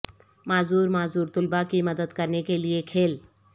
معذور معذور طلباء کی مدد کرنے کے لئے کھیل